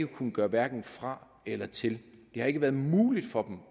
kunnet gøre hverken fra eller til det har ikke været muligt for